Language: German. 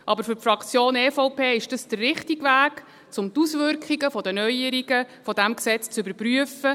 Aber für die Fraktion EVP ist dies der richtige Weg, um die Auswirkungen der Neuerungen dieses Gesetzes zu überprüfen.